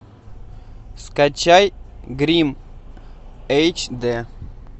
скачай гримм эйч дэ